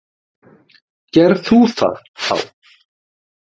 Ger þú það, þá.